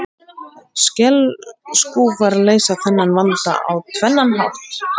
Skelskúfar leysa þennan vanda á tvennan hátt.